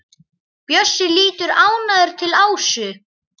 Bjössi lítur ánægður til Ásu.